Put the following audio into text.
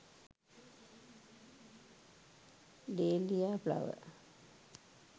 deliya flower